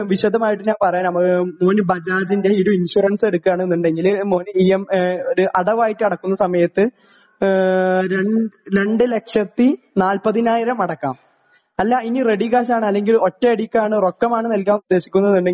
വിശദമായിട്ട് ഞാൻ പറയാം മോന് ബജാജിന്റെ ഒരു ഇൻഷുറൻസ് എടുക്കുകയാണെന്നുണ്ടെങ്കിൽ മോന് ഇ എം അടവായിട്ട് അടയ്ക്കുന്ന സമയത്ത് ഏ രണ്ടു ലക്ഷത്തി നാൽപ്പതിനായിരം അടയ്ക്കാം അല്ല ഇനി റെഡി കാഷ് ആണ് അല്ലെങ്കിൽ ഒറ്റടിക്കാണ് റോക്കമാണ് നല്കാൻ ഉദ്ദേശിക്കുന്നത് എന്നുണ്ടെങ്കിൽ